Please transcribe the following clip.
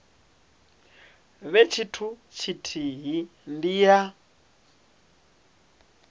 vhe tshithu tshithihi ndi ya